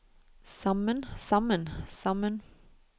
sammen sammen sammen